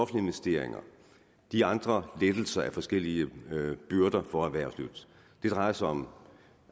investeringer de andre lettelser af forskellige byrder for erhvervslivet det drejer sig om